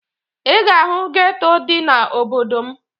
Ị ga-ahụ geto dị n'obodo m